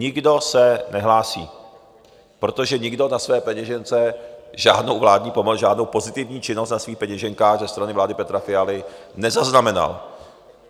Nikdo se nehlásí, protože nikdo na své peněžence žádnou vládní pomoc, žádnou pozitivní činnost na svých peněženkách ze strany vlády Petra Fialy nezaznamenal.